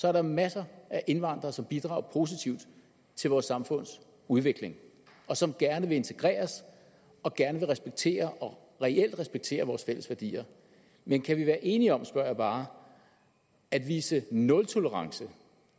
er der masser af indvandrere som bidrager positivt til vores samfunds udvikling og som gerne vil integreres og gerne vil respektere og reelt respekterer vores fælles værdier men kan vi være enige om spørger jeg bare at vise nultolerance